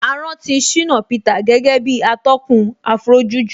A rántí Shina Peter gẹ́gẹ́ bí atọ́kùn Afrojuju